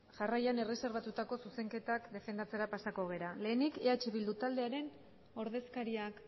jarraian erreserbatutako zuzenketak defendatzera pasako gara lehenik eh bildu taldearen ordezkariak